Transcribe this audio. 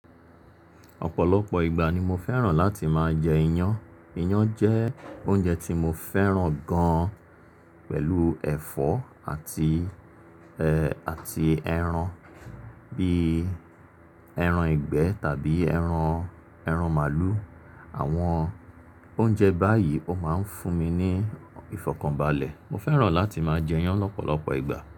Ọ̀pọ̀lọpọ̀ ìgbà ni mo fẹ́ràn láti máa jẹ iyan. Iyan jẹ́ oúnjẹ tí mo fẹ́ràn gan pẹ̀lú ẹ̀fọ́ àti, àti ẹran bíi ẹran ìgbẹ́ tàbí ẹran, ẹran màlúù. Àwọn oúnjẹ báyìí ó máa ń fún mi ní ìfọ̀kànbalẹ̀. Mo fẹ́ràn láti máa jẹ iyan lọ́pọ̀lọpọ̀ ìgbà.